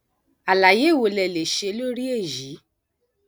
àlàyé wo lẹ lè ṣe lórí èyí